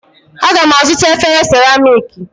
Aga m azụta efere seramiiki